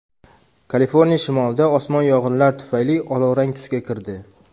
Kaliforniya shimolida osmon yong‘inlar tufayli olovrang tusga kirdi.